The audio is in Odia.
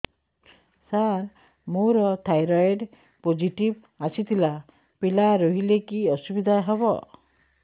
ସାର ମୋର ଥାଇରଏଡ଼ ପୋଜିଟିଭ ଆସିଥିଲା ପିଲା ରହିଲେ କି ଅସୁବିଧା ହେବ